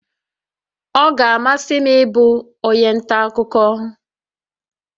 Ọ ga-amasị m ịbụ onye nta akụkọ